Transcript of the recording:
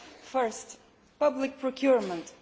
First public procurement.